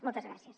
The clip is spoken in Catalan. moltes gràcies